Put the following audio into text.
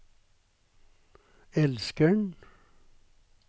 elskeren